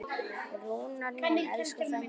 Rúnar minn, elsku frændi.